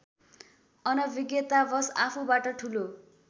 अनभिज्ञतावश आफूबाट ठूलो